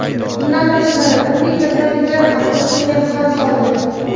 Bundan tashqari, turli kasalliklar ham qo‘shinga xavf soldi.